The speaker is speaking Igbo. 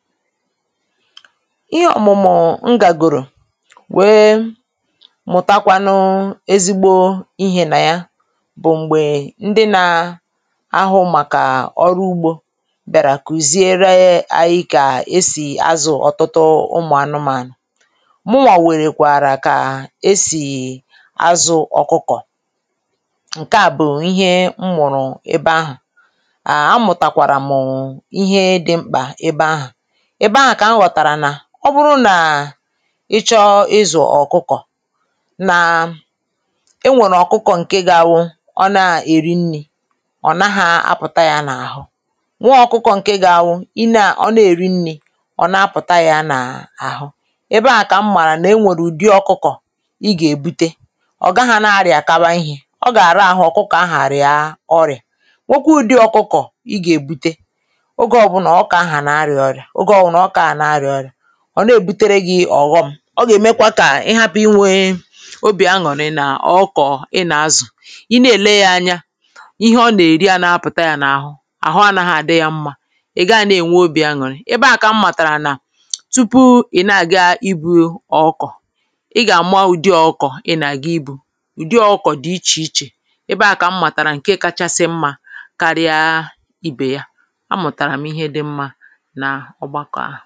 ihe òmụ̀mụ m gà gòrò wee mụ̀takwanụ ezigbo ihē nà ja bụ̀ m̀gbè ndị na ahụ màkà ọrụ ugbō biàrà kùziere ja e anyị kà esì azụ̀ ọ̀tụtụ ụmụ̀ anụmànụ̀ muwà wèrè kwàrà kà esì azụ ọkụkọ ǹkè a bụ̀ ihe m mụrụ ebe ahụ̀ à a mụ̀tà kwàrà mụ̀ ihe dị mkpà ebe ahụ̀ ebe ahụ̀ kà m ghọ̀tàrà nà ọ bụrụ nà ị chọ̀ ịzụ̀ ɔ̀kụkɔ̀ nà e nwòrò ọ̀kụkọ ǹke ga abụ ọ nà èrí nrị̄ ọ̀ naha apụ̀ta ja n’àhụ nwe ọ̀kụkọ̄ ǹke ga awụ ị nà ọ nà èri nrị̄ ọ̀ na pụ̀ta ja nà àhụ ebe ahà ebe ahà kà m màrà nà e nwèrè ụ̀dị ọ̀kụkọ̀ ị gà èbute ọ̀ gagha na rɪ̀akaba ihē ọ gà ra ahụ ọ̀kụkọ̀ ahụ̀ àrịa ọrịà nwekwa ụdị ọ̀kụkọ̀ ụdị ọ̀kụkọ̀ ị gà èbute oge ọbụlà ọkụkọ̀ ahụ̀ à na rịà ọrịà óge ọbụlà ọ̀kụkọ̀ à na rịà ọrịà ọ̀ na èbutere gị ọ̀ghọ̀m ọ gà ẹ̀mẹ̀kwa kà ị hapụ̀ ịnwē óbị̀ añụrị nà ọ̀kụkọ̀ ị nà-azụ̀ ị nà èle ya anya íhe ọ nà-èrí ana pụta yā n’àhụ àhụ anaghị àdị yā mmā ị̀ gagha nà-ènwe obị̀ añùrị ebe à kà m màtàrà nà tupu ị̀ na àga ị buyo ọ̀kụkọ̀ ị gà àma ụdị ọ̀kụkọ̀ ị nà aga ịbụ̄ ụ̀dị ọ̀kụkọ̀ dị ịchè ịchè ebe ahụ̀ kà m màtàrà nkẹ kachasị mmā karịaa ibè ya a mụtàrà m̀ ihe dị mmā nà ọgbakọ̀ ahụ̀